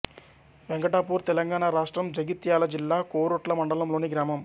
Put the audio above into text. వెంకటాపూర్ తెలంగాణ రాష్ట్రం జగిత్యాల జిల్లా కోరుట్ల మండలంలోని గ్రామం